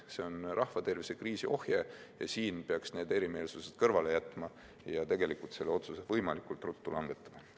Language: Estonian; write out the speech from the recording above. See on rahvatervise kriisi ohje ja siin peaks need erimeelsused kõrvale jätma ja selle otsuse võimalikult ruttu langetama.